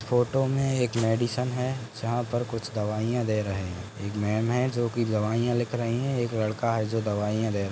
photo में एक medicine है जहाँ पर कुछ दवाईया ले रहे है एक मैम है जो की दवाईया लिख रही है एक लड़का है जो दवाईया ले रहा --